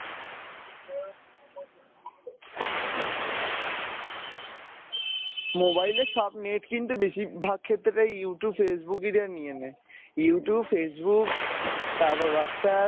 mobile এ সব net কিন্তু বেশীর ভাগ ক্ষেত্রেই Youtube, Facebook এরাই নিয়ে নেয় Youtube Facebook তারপর WhatsApp